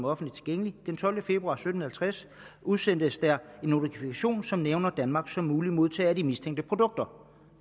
offentligt tilgængeligt den tolvte februar klokken sytten halvtreds udsendes der en notifikation som nævner danmark som mulig modtager af de mistænkte produkter